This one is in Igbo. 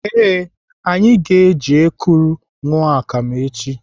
Ee, anyị ga-eji ekuru aṅụ akam echi.